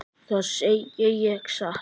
Það segi ég satt.